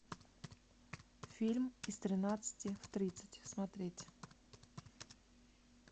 фильм из тринадцати в тридцать смотреть